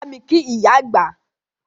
Bámi kí ìyá àgbà!